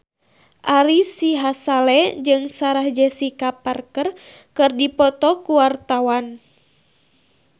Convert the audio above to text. Ari Sihasale jeung Sarah Jessica Parker keur dipoto ku wartawan